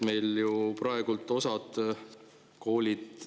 Meil ju praegu osa koole …